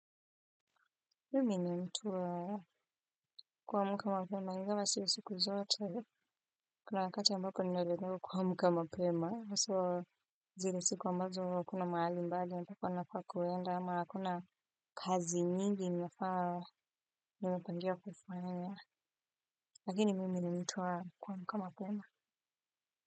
Mimi ni mtu wa kuamka mapema, ingawa si siku zote, kuna wakati ambako ninalemewa kuamka mapema, haswa zile siku ambazo hakuna mahali mbali, mpaka nafaa kwenda, ama hakuna kazi nyingi nafaa, nimepangia kufanya, lakini mimi ni mtu wa kuamka mapema.